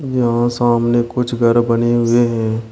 यहां सामने कुछ घर बने हुए हैं।